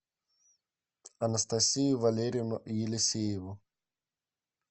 анастасию валерьевну елисееву